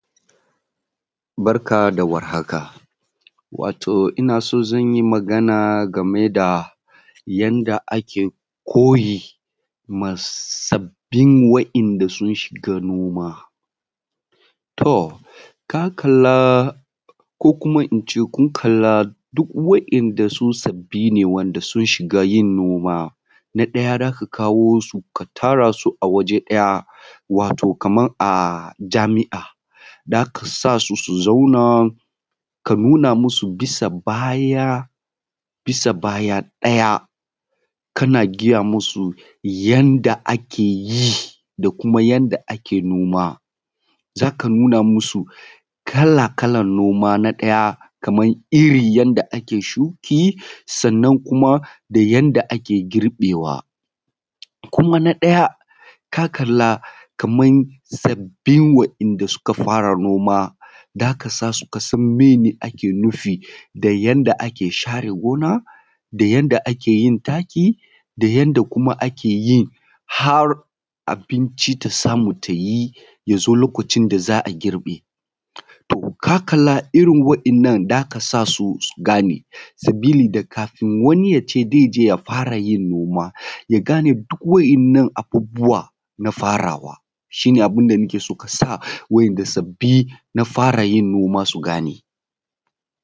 Barka da warhaka. Wato ina so zan yi magana game da yadda ake koyi ma sabin wa'inda sun shiga noma. To ka kalla ko kuma in ce kun kalla duk wa'inda su sabi ne wa'inda sun shiga yin noma. Na ɗaya za ka kawo su tara su a waje ɗaya, wato kamar a jami'a, za ka sa su su zauna, ka nuna masu bisa baya ɗaya, kana gaya masu yanda ake yi da kuma yanda ake noma. Za ka nuna masu kala kalan noma, na ɗaya kaman iri yadda ake shuki, sannan kuma da yanda ake girbewa. Kuma na ɗaya ka kalla kaman sabbin wa’inda suka fara noma zaka sa su kasan mene ake nufi da yanda ake share gona, da yanda ake yin taki, da yanda kuma ake yin har abinci ta samu ta yi, ya zo lokacin da za a girbe. Ka kalla irin wa'innan za ka sa su gane sabili da kafin wani yace zai je ya fara yin noma, ya gane duk wa'innan abubuwan na farawa, shi ne abun da ake so ka sa wa’inda sabbi na fara yin noma su gane.